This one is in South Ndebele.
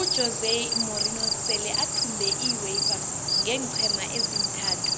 ujose morinho sele athumbe iuefa ngeenqhema ezintathu